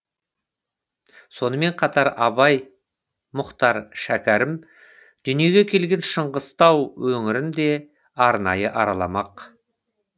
сонымен қатар абай мұхтар шәкәрім дүниеге келген шыңғыстау өңірін де арнайы араламақ